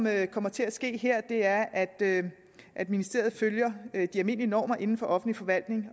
her kommer til at ske er at at ministeriet følger de almindelige normer inden for offentlig forvaltning